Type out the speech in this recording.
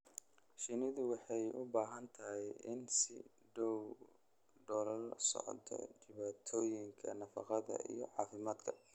Shinnidu waxay u baahan tahay in si dhow loola socdo dhibaatooyinka nafaqada iyo caafimaadka.